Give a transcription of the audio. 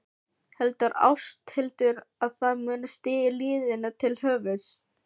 Heldur Ásthildur að það muni stíga liðinu til höfuðs?